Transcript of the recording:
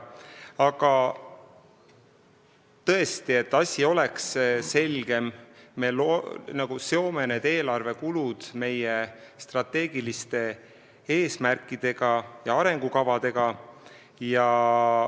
Aga tõesti, et asi oleks selgem, me nagu seome eelarvekulud meie strateegiliste eesmärkidega ja arengukavadega.